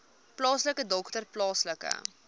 plaaslike dokter plaaslike